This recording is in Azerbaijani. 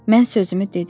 Mən sözümü dedim.